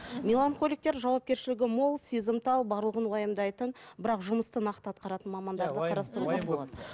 меланхоликтер жауапкершілігі мол сезімтал барлығын уайымдайтын бірақ жұмысты нақты атқаратын мамандарды қарастыруға болады